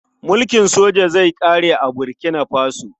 Mulkin soja zai ƙare a Burkina Faso.